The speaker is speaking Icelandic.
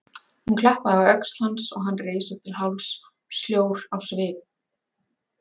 Hún klappaði á öxl hans og hann reis upp til hálfs, sljór á svip.